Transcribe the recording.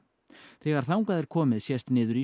þegar þangað er komið sést niður í